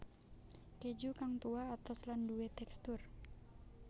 Keju kang tuwa atos lan duwé tekstur